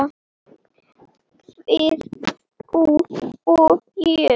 Við, þú og ég.